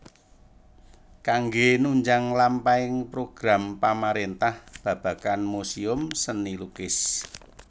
Kanggé nunjang lampahing program pamarentah babagan muséum seni lukis